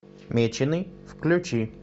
меченый включи